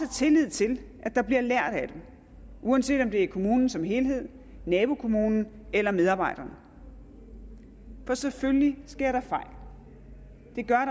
tillid til at der bliver lært af dem uanset om det er kommunen som helhed nabokommunen eller medarbejderne for selvfølgelig sker der fejl det gør